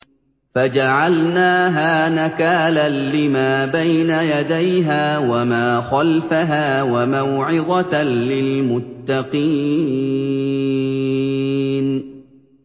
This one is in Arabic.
فَجَعَلْنَاهَا نَكَالًا لِّمَا بَيْنَ يَدَيْهَا وَمَا خَلْفَهَا وَمَوْعِظَةً لِّلْمُتَّقِينَ